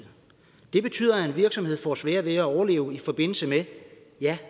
det betyder at en virksomhed får sværere ved at overleve i forbindelse med